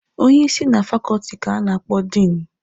Onye isi na fakọọtị ka a na-akpọ Diinụ.